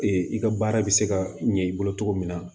i ka baara bɛ se ka ɲɛ i bolo cogo min na